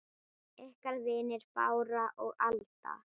Ykkar vinir Bára og Alda.